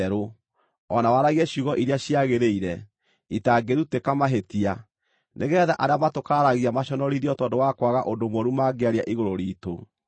o na waragie ciugo iria ciagĩrĩire, itangĩrutĩka mahĩtia, nĩgeetha arĩa matũkararagia maconorithio tondũ wa kwaga ũndũ mũũru mangĩaria igũrũ riitũ.